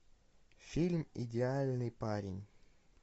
фильм идеальный парень